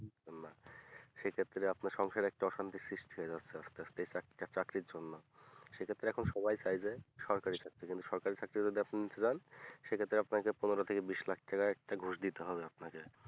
সেক্ষেত্রে আপনার সংসারে একটা অশান্তির সৃষ্টি হয়ে যাচ্ছে আস্তে আস্তে একটা চাকরি জন্য সেক্ষেত্রে এখন সবাই চায় যে সরকারি চাকরি যেন সরকারি চাকরিনেবো যদি আপনি নিতে চান সেক্ষেত্রে আপনাকে পনেরো থেকে বিষ লাখ টাকা ঘুস দিতে হবে আপনাকে